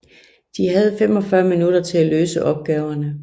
De havde 45 minutter til at løse opgaverne